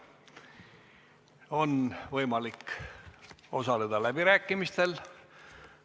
On võimalik osaleda läbirääkimistel.